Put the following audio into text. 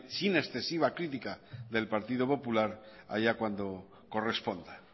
sin excesiva crítica del partido popular allá cuando corresponda